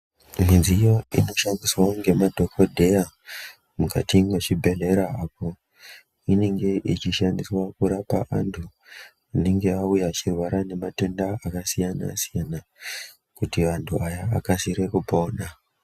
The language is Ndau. Midziyo inoshandiswa ngemadhokodheya mukati mwezvibhedhleya apo inenge yechishandiswa kurapa anthu anenge auya achirwara ngematenda akasiyana siyana kuti anthu aya akasire kupona.